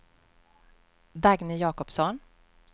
Dagny Jacobsson